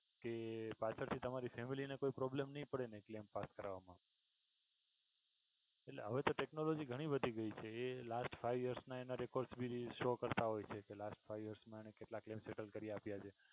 કે પાછળ થી તમારી family ને કઈ પ્રોબ્લેમ નહીં પડે ને claim પાસ કરાવવામાં. એટલે હવે તો technology ઘણી વધી ગઈ છે એ last five year ના records ભી show કરતાં હોય છે last five years ના કેટલા claim settle કરી આપ્યા છે.